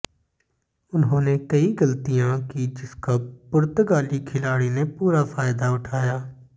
उन्होंने कई गलतियां की जिसका पुर्तगाली खिलाड़ी ने पूरा फायदा उठाया